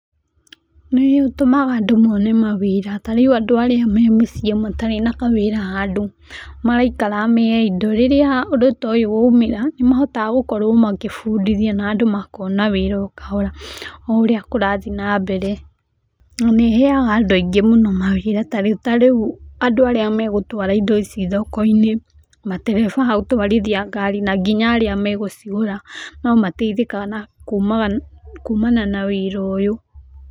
Nĩ ũtũmaga andũ mone mawĩra. Tarĩu andũ arĩa me mũciĩ matarĩ na kawĩra handũ maraikara me idle, rĩrĩa ũndũ ta ũyũ waumĩra, nĩ makoragwo agũbũndithia na andũ magakorwo akuona wĩra o kahora. O ũrĩa kũrathiĩ nambere. Na nĩ ĩheyaga andũ aingĩ mũno mawĩra. Tarĩu andũ arĩa megũtwara indo ici thoko-inĩ, matereba a gũtwarithia ngari na nginya arĩa megũcigũra no mateithĩkaga kuumana na wĩra ũyũ.